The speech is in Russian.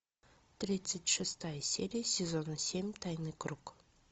тридцать шестая серия сезона семь тайный круг